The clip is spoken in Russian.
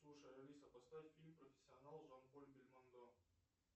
слушай алиса поставь фильм профессионал с жан поль бельмондо